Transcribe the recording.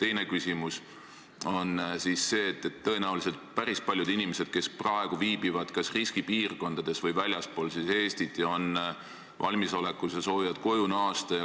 Teine küsimus on selle kohta, et tõenäoliselt päris paljud inimesed, kes praegu viibivad kas riskipiirkondades või väljaspool Eestit, soovivad koju naasta.